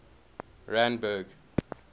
randburg